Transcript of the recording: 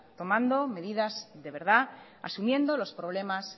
tomando medidas de verdad asumiendo los problemas